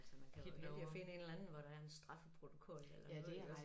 Altså man kan jo finde en eller anden hvor der er en straffeprotokol eller noget iggås